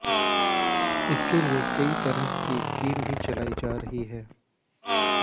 इसके लिए कई तरफ की स्कीम भी चलाई जा रही है